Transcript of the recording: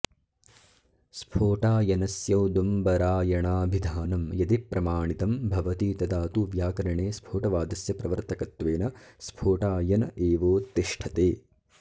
स्फोटायनस्यौदुम्बरायणाभिधानं यदि प्रमाणितं भवति तदा तु व्याकरणे स्फोटवादस्य प्रवर्तकत्वेन स्फोटायन एवोत्तिष्ठते